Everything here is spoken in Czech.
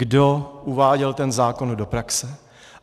Kdo uváděl ten zákon do praxe.